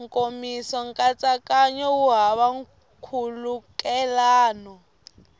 nkomiso nkatsakanyo wu hava nkhulukelano